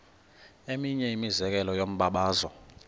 eminye imizekelo yombabazo